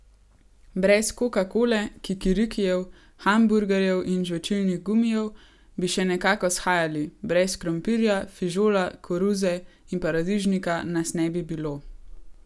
Brez kokakole, kikirikijev, hamburgerjev in žvečilnih gumijev bi še nekako shajali, brez krompirja, fižola, koruze in paradižnika nas ne bi bilo.